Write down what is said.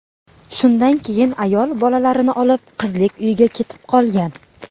Shundan keyin ayol bolalarini olib, qizlik uyiga ketib qolgan.